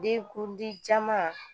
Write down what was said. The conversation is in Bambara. Denkundi caman